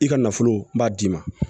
I ka nafolo b'a d'i ma